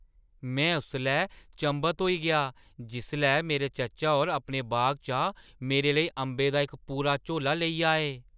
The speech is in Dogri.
में उसलै चंभत होई गेआ जिसलै मेरे चाचा होर अपने बागै चा मेरे लेई अंबें दा इक पूरा झोला लेई आए।